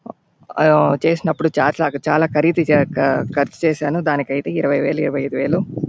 ఆ చేసినపుడు చార్ట్ లాగ -చాలా ఖరీదు చేశాను. దానికైతే ఇరవై వేలు ఇరవై ఐదు వేలు --